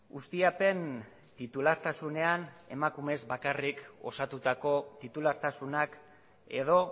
ustiapen titulartasunean emakumez bakarrik osatutako titulartasunak edo